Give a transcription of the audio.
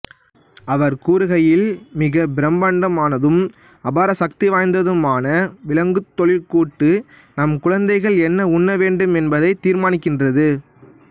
அவர் கூறுகையில் மிகப் பிரம்மாண்டமானதும் அபார சக்திவாய்ந்ததுமான விலங்குத் தொழிற்கூட்டு நம் குழந்தைகள் என்ன உண்ணவேண்டும் என்பதைத் தீர்மானிக்கின்றது